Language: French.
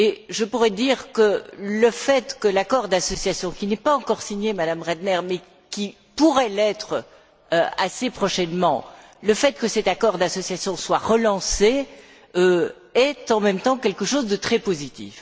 Je pourrais dire que le fait que l'accord d'association, qui n'est pas encore signé, Madame Brantner, mais qui pourrait l'être assez prochainement, le fait que cet accord d'association soit relancé est, en même temps, quelque chose de très positif.